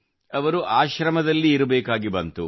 ಅವರು ಆಶ್ರಮದಲ್ಲಿರಬೇಕಾಗಿ ಬಂದಿತು